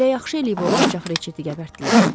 Elə yaxşı eləyib o alçaq Ritchettə gəbərtdilər.